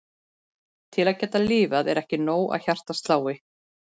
Til að geta lifað er ekki nóg að hjartað slái.